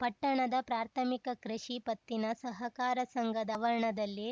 ಪಟ್ಟಣದ ಪ್ರಾಥಮಿಕ ಕೃಷಿ ಪತ್ತಿನ ಸಹಕಾರ ಸಂಘದ ವರಣದಲ್ಲಿ